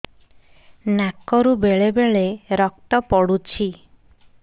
ନାକରୁ ବେଳେ ବେଳେ ରକ୍ତ ପଡୁଛି